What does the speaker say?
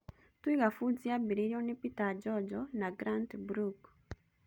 Twiga Foods yambĩrĩirio nĩ Peter Njonjo na Grant Brooke.